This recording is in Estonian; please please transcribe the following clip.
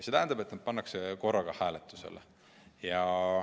See tähendab, et nad pannakse korraga hääletusele.